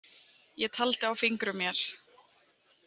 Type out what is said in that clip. Ég taldi á fingrum mér.